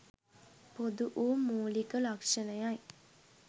පොදු වූ මූලික ලක්‍ෂණයයි.